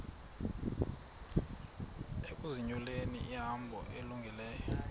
ukuzinyulela ihambo elungileyo